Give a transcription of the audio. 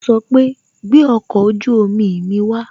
O sọ pé "gbẹ ọkọ ojú omi mi wa